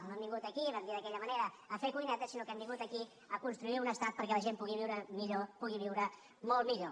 no hem vingut aquí ho vam dir d’aquella manera a fer cuinetes sinó que hem vingut aquí a construir un estat perquè la gent pugui viure millor pugui viure molt millor